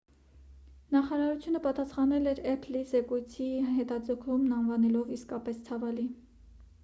նախարարությունը պատասախանել էր էփլի զեկույցի հետաձգումն անվանելով իսկապես ցավալի